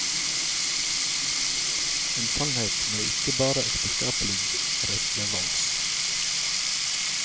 En sannhet med ikke bare ekteskapelig relevans.